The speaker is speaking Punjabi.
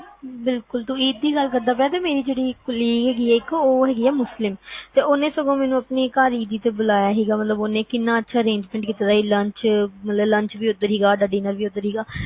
ਬਿਲਕੁਲ ਤੂੰ ਈਦ ਦੀ ਗੱਲ ਕਰਦਾ ਪਿਆ ਮੇਰੀ ਜਿਹੜੀ colleague ਹੈਗੀ ਆ ਉਹ ਹੈਗੀ ਮੁਲਸੀਂ ਓਹਨੇ ਸਗੋਂ ਮੇਨੂ ਆਪਣੇ ਘਰ ਈਦੀ ਤੇ ਬੁਲਾਇਆ ਸੀ ਉਹਨੇ ਕਿਨ੍ਹਾ ਅੱਛਾ arrangement ਕੀਤਾ ਸੀਗਾ ਸਾਡਾ lunch ਵੀ ਉਥੇ ਸੀਗਾ dinner ਵੀ ਓਥੇ ਸੀਗਾ